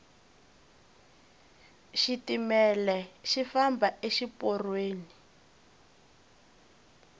xitimele xi famba exi porweni